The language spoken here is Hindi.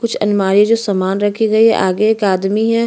कुछ अलमारी है जो सामान रखी गई है आगे एक आदमी है।